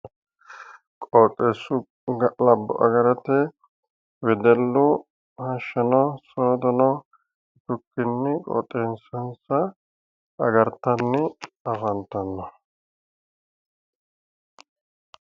Qooxeessu ga'labbo agarate wedellu hashshano soodono qoxeessansa agartanni leeltanno